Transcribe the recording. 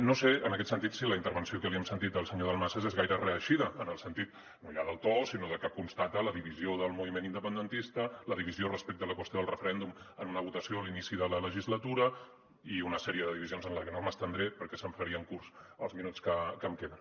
no sé en aquest sentit si la intervenció que li hem sentit al senyor dalmases és gaire reeixida en el sentit no hi ha del to sinó de que constata la divisió del moviment independentista la divisió respecte a la qüestió del referèndum en una votació a l’inici de la legislatura i una sèrie de divisions en les que no m’estendré perquè se’m farien curts els minuts que em queden